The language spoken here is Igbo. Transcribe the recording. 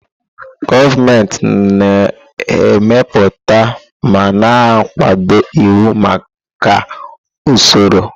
Gọọmenti na-emepụta ma na-akwado iwu maka usoro.